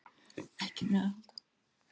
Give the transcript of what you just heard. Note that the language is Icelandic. Ekki með að halda áfram, væntanlega?